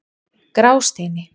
Grásteini